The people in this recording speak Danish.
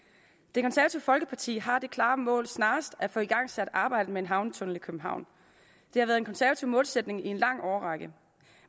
det konservative folkeparti har det klare mål snarest at få igangsat arbejdet med en havnetunnel i københavn det har været en konservativ målsætning i en lang årrække